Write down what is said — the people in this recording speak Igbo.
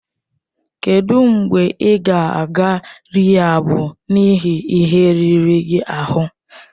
Kedụ mgbe ị ga-aga rịhaab n'ihi ihe riri gị ahụ?